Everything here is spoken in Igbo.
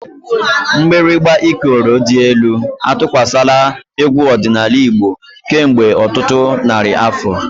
Mgbịrịgba Ikoro dị elu atụkwasịla egwu ọdịnala Igbo kemgbe ọtụtụ narị afọ.